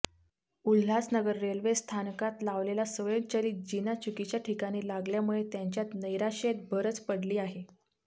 Ulhasnagar railway स्थानकात लावलेला स्वयंचलित जिना चुकीच्या ठिकाणी लागल्यामुळे त्यांच्या नैराशेत भरच पडली आहे